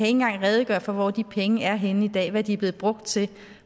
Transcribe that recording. engang kan redegøre for hvor de penge er henne i dag hvad de er blevet brugt til